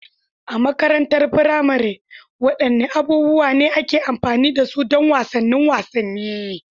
A makarantar firamare, wadanne abubuwa ne ake amfani da su don wasanni da wasanni?